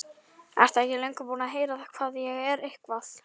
Ertu ekki löngu búinn að heyra hvað ég er eitthvað.